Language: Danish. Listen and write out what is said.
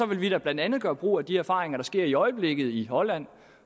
vi da blandt andet gøre brug af de erfaringer der sker i øjeblikket i holland